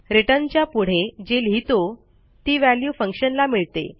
returnच्या पुढे जे लिहितो ती व्हॅल्यू फंक्शनला मिळते